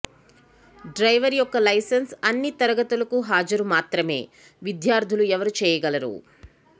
driver యొక్క licence అన్ని తరగతులకు హాజరు మాత్రమే విద్యార్థులు ఎవరు చెయ్యగలరు